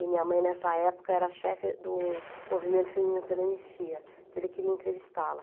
E minha mãe nessa época era chefe do Movimento Feminino pela Anistia, então ele queria entrevistá-la.